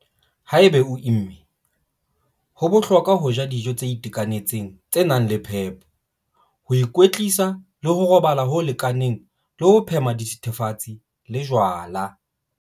Haeba o imme, ho bohlokwa ho ja dijo tse itekanetseng tse nang le phepo, ho ikwetlisa le ho robala ho lekaneng le ho phema dithethefatsi le jwala.